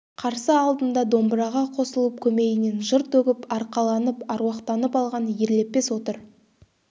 қарсы алдында домбыраға қосылып көмейінен жыр төгіп арқаланып аруақтанып алған ерлепес отыр